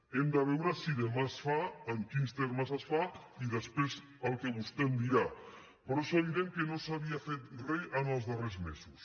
hem de veure si demà es fa en quins termes es fa i després el que vostè em dirà però és evident que no s’havia fet res en els darrers mesos